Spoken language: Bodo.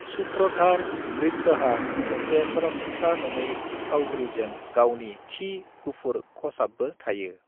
सूत्रधार नृत्यहा मोनसे सरासनस्रा नङै फावग्रीजों गावनि थि गुफुर खसाब्बो थायो।